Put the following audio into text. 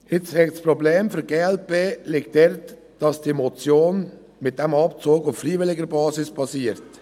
Das Problem für die glp liegt darin, dass diese Motion auf einem Abzug auf freiwilliger Basis basiert.